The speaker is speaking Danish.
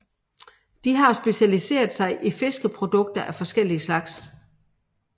De har specialiseret sig i fiskeprodukter af forskellig slags